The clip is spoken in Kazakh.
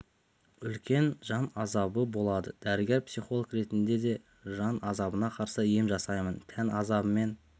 үлкен жан азабы болады дәрігер психолог ретінде де жан азабына қарсы ем жасаймын тән азабымен